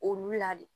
Olu la de